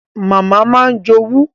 Màmá máa ń jowú